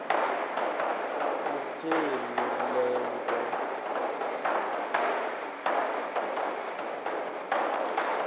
kutheni le nto